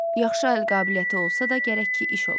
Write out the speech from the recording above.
Yaxşı əl qabiliyyəti olsa da gərək ki iş ola.